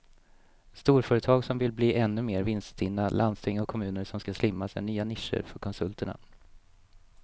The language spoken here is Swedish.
Storföretag som vill bli ännu mer vinststinna, landsting och kommuner som ska slimmas är nya nischer för konsulterna.